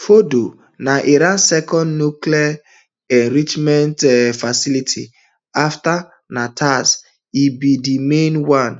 fordo na iran second nuclear um enrichment um facility afta natanz e be di main one